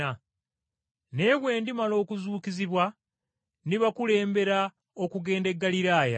Naye bwe ndimala okuzuukizibwa, ndibakulembera okugenda e Ggaliraaya.”